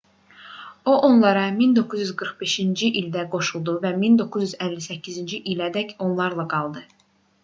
o onlara 1945-ci ildə qoşuldu və 1958-ci ilədək onlarla qaldı